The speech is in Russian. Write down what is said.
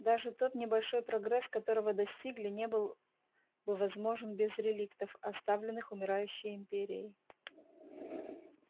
даже тот небольшой прогресс которого достигли не был бы возможен без реликтов оставленных умирающей империей